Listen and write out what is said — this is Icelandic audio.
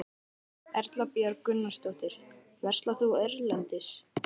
Erla Björg Gunnarsdóttir: Verslar þú erlendis?